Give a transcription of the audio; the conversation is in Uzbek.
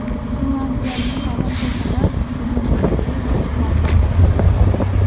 Finlyandiyaning ta’lim tizimi dunyodagi eng yaxshilaridan biri hisoblanadi.